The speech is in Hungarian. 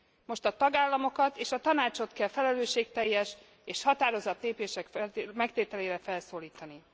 Most a tagállamokat és a Tanácsot kell felelősségteljes és határozatképes lépések megtételére felszólítani.